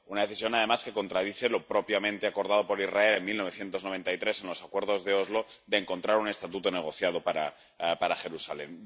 Una decisión, además, que contradice lo propiamente acordado por Israel en 1993 en los Acuerdos de Oslo de encontrar un estatuto negociado para Jerusalén.